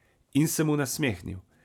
In se mu nasmehnil.